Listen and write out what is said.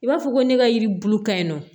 I b'a fɔ ko ne ka yiri bulu ka ɲi nɔ